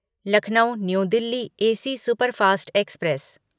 Lucknow new Delhi AC superfast express